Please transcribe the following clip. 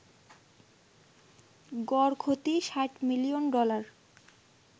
গড় ক্ষতি ৬০ million dollar